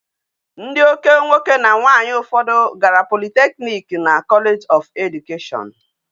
Ndi oke nwoke na nwanyi ufodu gara polytechnics na college of education